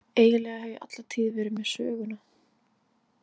Eiginlega hef ég alla tíð verið með Söguna.